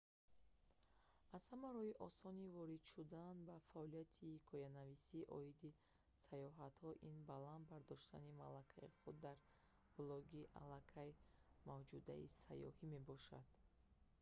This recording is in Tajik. аз ҳама роҳи осони ворид шудан ба фаъолияти ҳикоянависӣ оиди сайёҳатҳо ин баланд бардоштани малакаи худ дар блоги алакай мавҷудаи сайёҳӣ мебошад